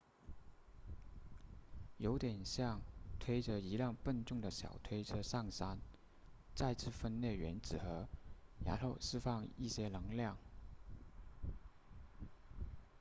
有点像推着一辆笨重的小推车上山再次分裂原子核然后释放一些能量